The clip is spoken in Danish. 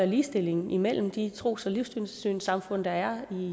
ligestilling imellem de tros og livssynssamfund der er